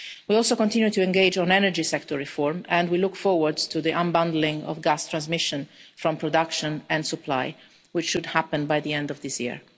We also continue to engage on energy sector reform, and we look forward to the unbundling of gas transmission from production and supply, which should happen by the end of this year.